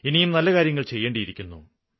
ഇനിയും നല്ല കാര്യങ്ങള് ചെയ്യേണ്ടിയിരിക്കുന്നു